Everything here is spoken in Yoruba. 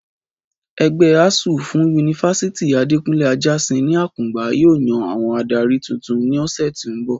Ẹgbẹ́ asuu fún ti yunifásítì Adekunle Ajáṣin ní Àkùngbá yóò yan àwọn adarí tuntun ní ọ̀sẹ̀ tó ń bọ̀